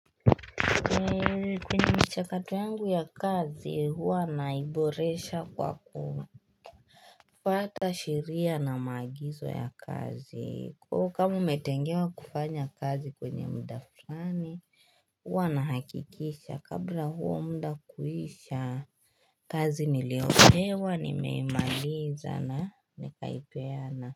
Kwenye mchakato yangu ya kazi huwa naiboresha kwa kufwata sheria na maagizo ya kazi Kwa kama umetengewa kufanya kazi kwenye mda fulani Huwa nahakikisha kabla huo mda kuisha kazi niliopewa nimeimaliza na nikaipeana.